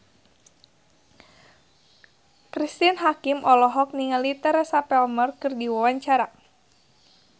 Cristine Hakim olohok ningali Teresa Palmer keur diwawancara